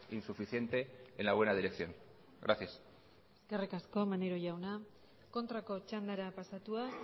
insuficiente en la buena dirección gracias eskerrik asko maneiro jauna kontrako txandara pasatuz